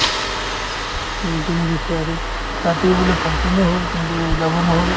meeting দিছে আৰু ৰাতিয়ো বোলে function ও হ'ল কিন্তু যাব নহ'ল